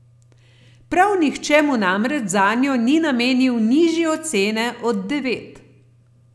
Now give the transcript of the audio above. Prav nihče mu namreč zanjo ni namenil nižje ocene od devet.